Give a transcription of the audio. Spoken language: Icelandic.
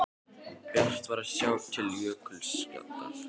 Bjart var að sjá til jökulskjaldarins.